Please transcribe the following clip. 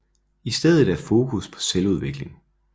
I stedet er fokus på selvudvikling